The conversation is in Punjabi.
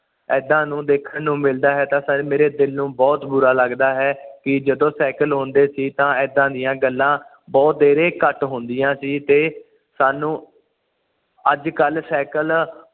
ਏਦਾਂ ਨੂੰ ਦੇਖਣ ਨੂੰ ਮਿਲਦਾ ਹੈ ਤਾ ਇਹ ਸਹੀ ਮੇਰੇ ਦਿਲ ਨੂੰ ਬੁਹਤ ਬੁਰਾ ਲੱਗਦਾ ਹੈ ਕਿ ਜਦੋਂ ਸਾਈਕਲ ਹੁੰਦੇ ਸੀ ਤਾ ਏਦਾਂ ਦੀਆਂ ਗੱਲਾਂ ਬੁਹਾਤੇਰੇ ਘੱਟ ਹੁੰਦੀਆਂ ਸੀ ਤੇ ਸਾਨੂੰ ਅੱਜ ਕੱਲ ਸਾਈਕਲ